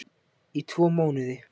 Í tvo mánuði